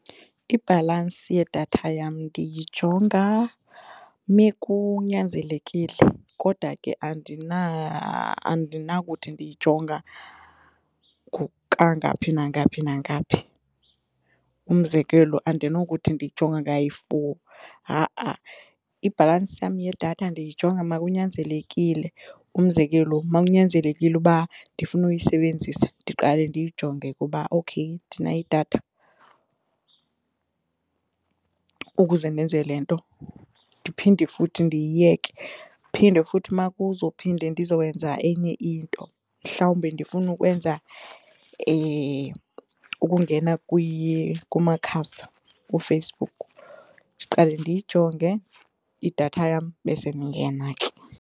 Ibhalansi yedatha yam ndiyijonga mekunyanzelekile kodwa ke andinakuthi ndiyijonga kangaphi nangaphi nangaphi. Umzekelo, andinokuthi ndiyijonga kayi-four, ha-a. Ibhalansi yam yedatha ndiyijonga makunyanzelekile umzekelo makunyanzelekile uba ndifuna ukuyisebenzisa ndiqale ndiyijonge kuba okhey ndinayo idatha ukuze ndenze le nto ndiphinde futhi ndiyiyeke phinde futhi makuzophinde ndizokwenza enye into mhlawumbi ndifuna ukwenza ukungena kumakhasi kuFacebook, ndiqale ndiyijonge idatha yam besendingena ke.